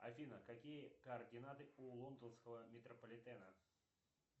афина какие координаты у лондонского метрополитена